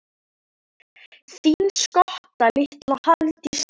Þín skotta litla, Hafdís Svava.